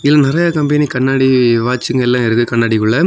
இதிலெ நறைய கம்பெனி கண்ணாடி வாட்ச்சுங்கலா இருக்கு கண்ணாடிக்குள்ள.